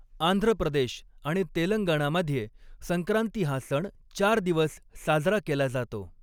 आंध्र प्रदेश आणि तेलंगणामध्ये संक्रांती हा सण चार दिवस साजरा केला जातो.